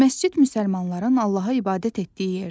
Məscid müsəlmanların Allaha ibadət etdiyi yerdir.